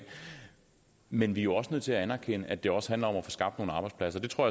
men vi er også nødt til at anerkende at det også handler om at få skabt nogle arbejdspladser det tror